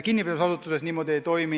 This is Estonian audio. Kinnipidamisasutuses see aga niimoodi ei toimu.